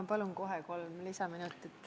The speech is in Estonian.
Ma palun kohe kolm lisaminutit.